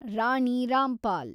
Rani Rampal